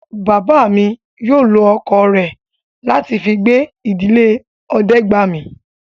Bàbá mi yóò lọ ọkọ̀ rẹ̀ láti fi gbé ìdílé Ọdẹ́gbàmi